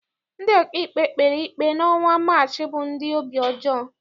Ndị ọkaikpe kpere ikpe n'ọnwa Maachị bụ ndị obi ọjọọ.